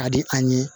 Ka di an ye